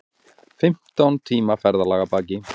Fimmtán tíma ferðalag að baki